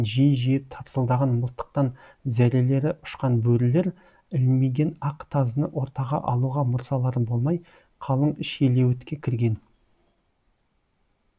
ат дүбірі мен жиі жиі тарсылдаған мылтықтан зәрелері ұшқан бөрілер ілмиген ақ тазыны ортаға алуға мұрсалары болмай қалың шилеуітке кірген